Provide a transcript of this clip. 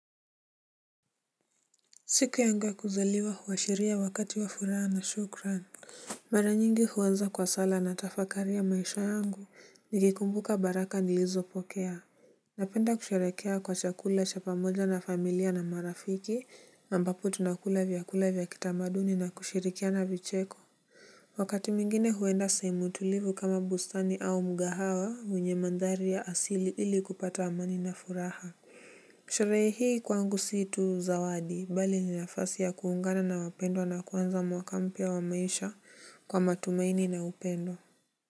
Siku yangu ya kuzaliwa huashiria wakati wa furaha na shukran. Mara nyingi huanza kwa sala na tafakari ya maisha yangu nikikumbuka baraka nilizopokea. Napenda kusherehekea kwa chakula cha pamoja na familia na marafiki ambapo tunakula vyakula vya kitamaduni na kushirikiana vicheko. Wakati mwingine huenda sehemu tulivu kama bustani au mgahawa wenye mandhari ya asili ili kupata amani na furaha. Sherehe hii kwangu si tu zawadi, bali ni nafasi ya kuungana na wapendowa na kuanza mwaka mpya wa maisha kwa matumaini na upendo.